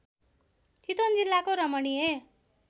चितवन जिल्लाको रमणीय